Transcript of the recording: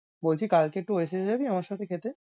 বলছি কালকে একটু Oasis যাবি আমার সাথে খেতে?